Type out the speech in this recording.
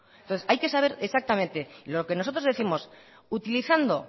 entonces hay que saber exactamente y lo que nosotros décimos utilizando